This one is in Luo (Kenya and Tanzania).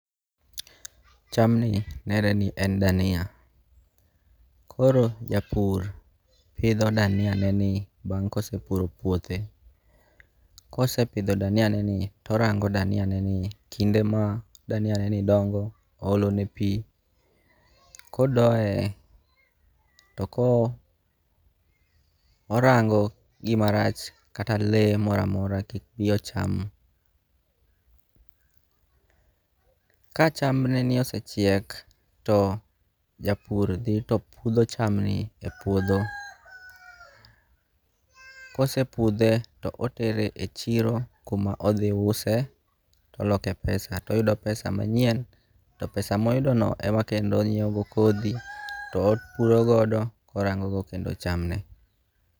Chamni nere ni en dania. Koro japur pidho dania ne ni bang' kosepuro puothe. Kosepidho dania nen ni orango dania ne ni kinde ma dania nen ni dongo oolo ne pii. Kodoye to ko orango gimarach kata lee moramora kik bii ocham .Ka cham ne ni osechiek to japur dhi to pudho cham ni e puodho. Kosepudhe to otere echiro kuma odhi use oloke pesa toyudo pesa manyien to pesa moyudo no emonyiewo go kodhi topuro godo korango go kendo chamne.